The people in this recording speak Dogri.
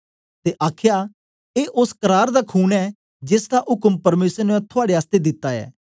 ते आखया ए ओस करार दा खून ऐ जेसदा उक्म परमेसर ने थुआड़े आसतै दिता ऐ